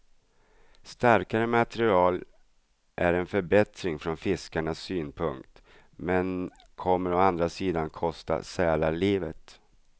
Starkare material är en förbättring från fiskarnas synpunkt, men kommer å andra sidan att kosta sälar livet.